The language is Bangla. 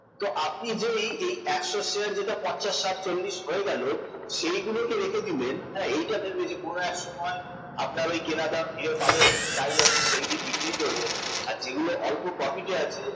তো আপনি যে এই এই একশ এর শেয়ার পঞ্চাশ ষাট চল্লিশ হয়ে গেল সেইগুলোকে রেখে দিলেন এইটা ভেবে যে কোন এক সময় আপনার ওই কেনা দাম ফিরে পাবেন তাই আপনি সেই দিন বিক্রি করবেন আর যেগুলো অল্প profit আছে